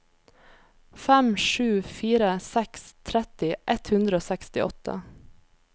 fem sju fire seks tretti ett hundre og sekstiåtte